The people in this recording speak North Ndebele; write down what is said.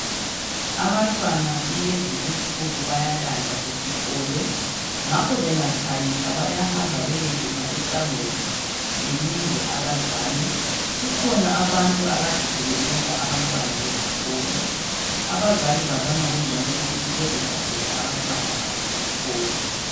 Abantwana kulezi insuku bayalandwa esikolo .Ngakho bengatshayisa bayahamba beyekuma esangweni belinde abazali .Kukhona abantu akade sebentshontsha abantwana esikolo .Abazali babona kungcono ukuthi bezilandele abantwana babo esikolo .